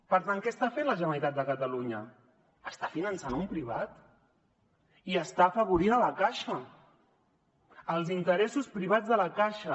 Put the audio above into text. per tant què està fent la generalitat de catalunya està finançant un privat i està afavorint la caixa els interessos privats de la caixa